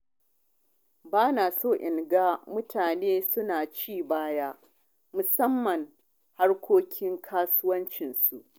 Ba na son na ga mutane su na ci baya musamman harkokin kasuwancinsu.